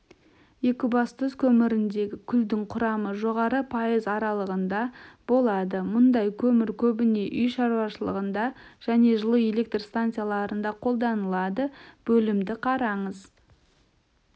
екібастұз көміріндегі күлдің құрамы жоғары пайыз аралығында болады мұндай көмір көбіне үй шаруашылығында және жылу электр станцияларында қолданылады бөлімді қараңыз